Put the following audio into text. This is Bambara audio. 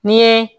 N'i ye